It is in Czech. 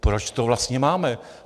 Proč to vlastně máme?